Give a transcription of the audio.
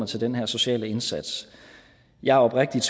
til den her sociale indsats jeg er oprigtigt